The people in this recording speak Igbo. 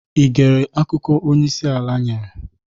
I gere akụkọ onyeisi ala nyere?